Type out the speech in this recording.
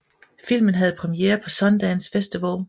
Filmen havde premiere på Sundance Festival